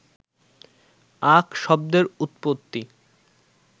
আখ শব্দের উত্পত্তি